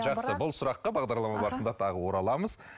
жақсы бұл сұраққа бағдарлама барысында тағы ораламыз